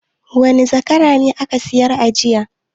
Wane zakara ne aka sayar jiya?